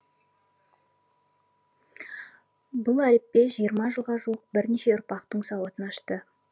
бұл әліппе жиырма жылға жуық бірнеше ұрпақтың сауатын ашты